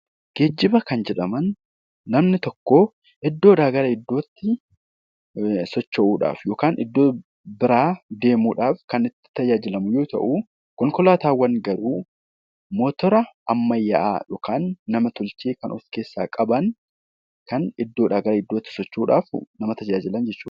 Geejjiba kan jedhanaman namni tokko iddoodha gara iddootti socho'uudhaf yookan iddoo bira deemuudhaf kan itti fayyadamu yoo ta'u, konkolaatawwan garuu motora ammayyaa yookan nam-tolchee kan of keessa qaban kan iddoodha, gara iddootti socho'uudhaf nama tajaajilan jechudha.